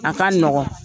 A ka nɔgɔn